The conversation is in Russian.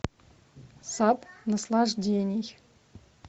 сад наслаждений